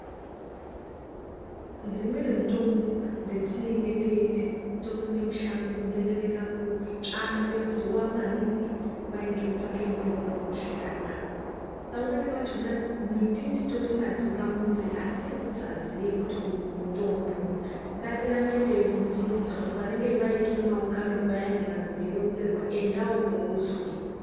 Dzimweni mitombo dzetinenge teiti topinda mushango kunzerereka kutsva ngezuwa maningi, kwai ndiri kutsvaka mutombo wekuzvirapa. Pamweni pachona miti titori nadzo pamuzi asi ngekusaziya kuti uyu murombo. Ngatirambe teibvunzurudzawo panenge paita maungano payani vantu veironzerwa endawopo uzwe.